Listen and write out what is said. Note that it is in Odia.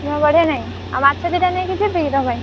ତମର ଗଡିଆ ନାହିଁ ଆଉ ମାଛ ଦି ଟା ନେଇକି ଯିବି ତୋ ପାଇଁ?